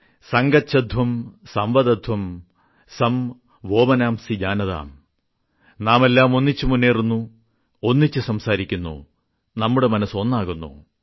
സംഗച്ഛധ്വം സംവദധ്വം സം വോമനാംസി ജാനതാം നാമെല്ലാം ഒന്നിച്ച് മുന്നേറുന്നു ഒന്നിച്ച് സംസാരിക്കുന്നു നമ്മുടെ മനസ്സ് ഒന്നാകുന്നു